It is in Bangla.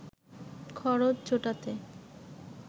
খরচ জোটাতে